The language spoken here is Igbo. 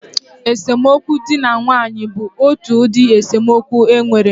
Esemokwu dị na nwaanyị bụ otu ụdị esemokwu e nwere